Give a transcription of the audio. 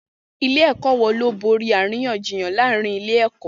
Ilé-ẹ̀kọ́ wo ló borí àríyànjiyàn láàárín ilé-ẹ̀kọ́?